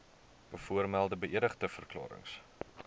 bovermelde beëdigde verklarings